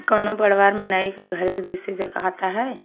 कोनो बढ़वार मनाइ क घर के है।